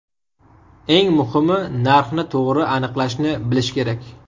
Eng muhimi – narxni to‘g‘ri aniqlashni bilish kerak.